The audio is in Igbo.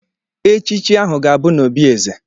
Echichi ahụ ga-abụ n'obi Eze.